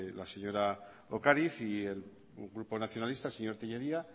la señora ocariz y el grupo nacionalista señor tellería